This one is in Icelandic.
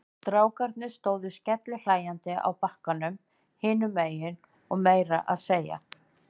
Strákarnir stóðu skellihlæjandi á bakkanum hinum megin og meira að segja